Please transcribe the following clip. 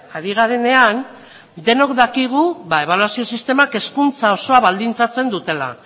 ari garenean denok dakigu ebaluazio sistemak hezkuntza osoa baldintzatzen dutela